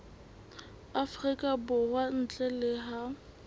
afrika borwa ntle le ha